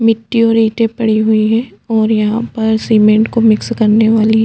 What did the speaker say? मिटटी और ईंटे पड़ी हुई है और यहाँ पर सीमेंट को मिक्स करने वाली--